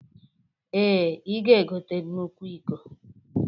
Ee, i ga-egote nnukwu iko